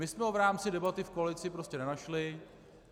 My jsme ho v rámci debaty v koalici prostě nenašli.